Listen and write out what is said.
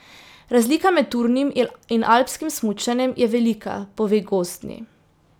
Razlika med turnim in alpskim smučanjem je velika, pove Gozdni.